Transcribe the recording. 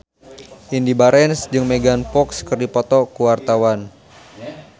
Indy Barens jeung Megan Fox keur dipoto ku wartawan